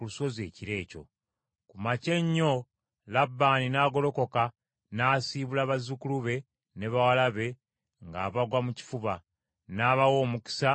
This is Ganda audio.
Ku makya ennyo Labbaani n’agolokoka n’asiibula bazzukulu be ne bawala be ng’abagwa mu kifuba; n’abawa omukisa, n’addayo ewuwe.